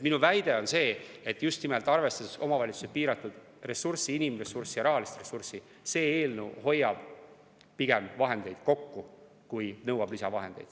Minu väide on see, et just nimelt, kui arvestada omavalitsuste piiratud ressurssi – inimressurssi ja rahalist ressurssi –, see eelnõu pigem hoiab vahendeid kokku kui nõuab lisavahendeid.